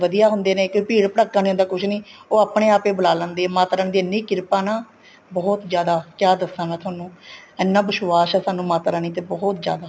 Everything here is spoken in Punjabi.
ਵਧੀਆ ਹੁੰਦੇ ਨੇ ਕਿਉਂ ਭੀੜ ਭੱੜਕਾ ਨਹੀਂ ਹੁੰਦਾ ਕੁੱਛ ਨਹੀਂ ਉਹ ਆਪਣੇ ਆਪ ਬੁਲਾਹ ਲੈਂਦੀ ਹੈ ਮਾਤਾ ਰਾਣੀ ਦੀ ਇੰਨੀ ਕਿਰਪਾ ਨਾ ਬਹੁਤ ਜਿਆਦਾ ਕਿਆ ਦੱਸਾ ਮੈਂ ਤੁਹਾਨੂੰ ਐਨਾ ਵਿਸ਼ਵਾਸ ਆ ਸਾਨੂੰ ਮਾਤਾ ਰਾਣੀ ਤੇ ਬਹੁਤ ਜਿਆਦਾ